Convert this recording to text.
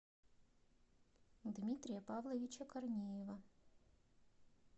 дмитрия павловича корнеева